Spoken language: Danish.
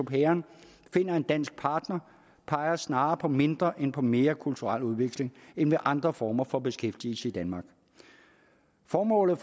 pairen finder en dansk partner peger snarere på mindre end på mere kulturel udveksling end ved andre former for beskæftigelse i danmark formålet